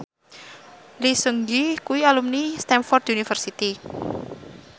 Lee Seung Gi kuwi alumni Stamford University